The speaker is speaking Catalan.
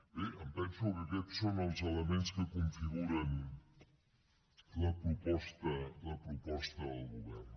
bé em penso que aquests són els elements que configuren la proposta del govern